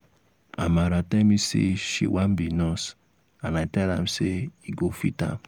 amara tell me say she wan be nurse and i tell am say e go fit am